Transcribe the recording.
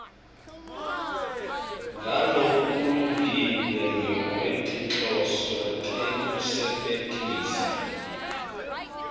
ngalokulungile ngekwetinhloso tekusebentisa